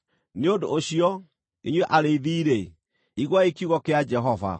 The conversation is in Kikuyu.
“ ‘Nĩ ũndũ ũcio, inyuĩ arĩithi-rĩ, iguai kiugo kĩa Jehova: